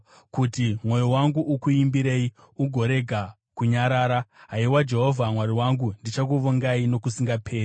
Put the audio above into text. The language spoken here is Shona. kuti mwoyo wangu ukuimbirei ugorega kunyarara. Haiwa Jehovha Mwari wangu, ndichakuvongai nokusingaperi.